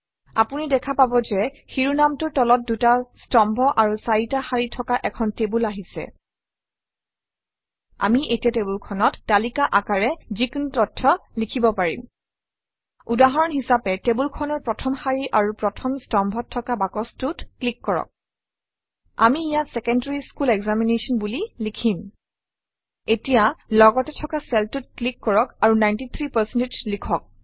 আপুনি দেখা পাব যে শিৰোনামটোৰ তলত দুটা স্তম্ভ আৰু চাৰিটা শাৰী থকা এখন টেবুল আহিছে আমি এতিয়া টেবুলখনত তালিকা আকাৰে যিকোনো তথ্য লিখিব পাৰিম উদাহৰণ হিচাপে টেবুলখনৰ প্ৰথম শাৰী আৰু প্ৰথম স্তম্ভত থকা বাকচটোত ক্লিক কৰক আমি ইয়াত ছেকেণ্ডাৰী স্কুল এক্সামিনেশ্যন বুলি লিখিম এতিয়া লগতে থকা চেলটোত ক্লিক কৰক আৰু 93 লিখক